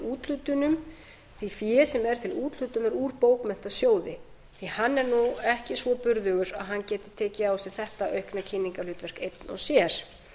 úthlutunum því fé sem er til úthlutunar úr bókmenntasjóði því hann er ekki svo burðugur að hann geti tekið á sig þetta aukna kynningarhlutverk eitt og sér